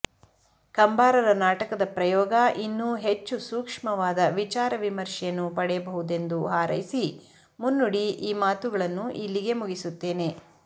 ಕಂಬಾರರ ನಾಟಕದ ಪ್ರಯೋಗ ಇನ್ನೂ ಹೆಚ್ಚು ಸೂಕ್ಷ್ಮವಾದ ವಿಚಾರ ವಿಮರ್ಶೆಯನ್ನು ಪಡೆಯಬಹುದೆಂದು ಹಾರೈಸಿ ಮುನ್ನುಡಿ ಈ ಮಾತುಗಳನ್ನು ಇಲ್ಲಿಗೇ ಮುಗಿಸುತ್ತೇನೆ